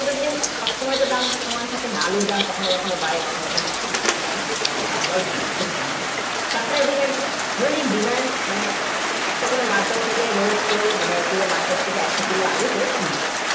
মানে সব সময় যে দাম সমান থাকে তা না আলুর দাম কখনো বারে কখনো কখনো কমে তেমন supply, demand মানে demand একটা কোনও market থেকে মানে পুরো market থেকে একশো কিলো আলু কিনেছেন